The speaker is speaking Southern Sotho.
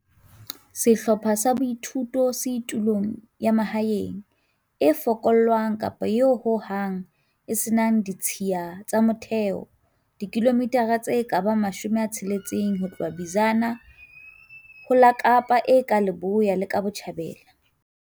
Sehlopha sa boithuto se tulong ya mahaeng e fokollwang kapa eo ho hang e se nang ditshiya tsa motheo, dikilomithara tse ka bang 60 ho tloha Bizana ho la Kapa e ka Leboya le ka Botjhabela.